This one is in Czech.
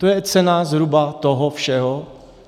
To je cena zhruba toho všeho.